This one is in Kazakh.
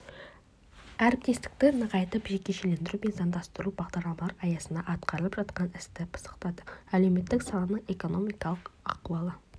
әріптестікті нығайтып жекешелендіру мен заңдастыру бағдарламалары аясында атқарылып жатқан істі пысықтады әлеуметтік саланың экономикалық ахуалы